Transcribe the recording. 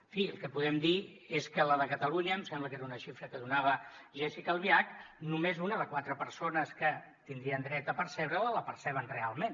en fi el que podem dir és que la de catalunya em sembla que era una xifra que donava jéssica albiach només una de quatre persones que tindrien dret a percebre la la perceben realment